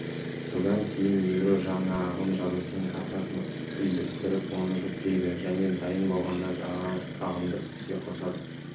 содан кейін ядро жаңа ағым жадысының картасын үйлестіріп оны жүктейді және дайын болғанда жаңа ағымды іске қосады